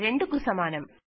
2కు సమానం